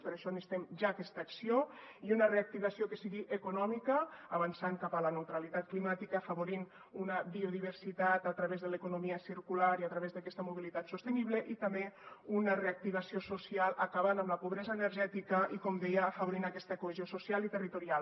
per això necessitem ja aquesta acció i una reactivació que sigui econòmica avançant cap a la neutralitat climàtica afavorint una biodiversitat a través de l’economia circular i a través d’aquesta mobilitat sostenible i també una reactivació social acabant amb la pobresa energètica i com deia afavorint aquesta cohesió social i territorial